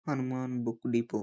Hanuman book depot .